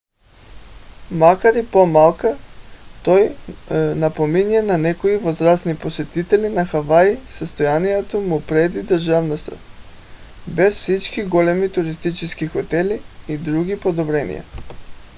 макар и по-малък той напомня на някои възрастни посетители на хавай състоянието му преди държавността без всички големи туристически хотели и други подобрения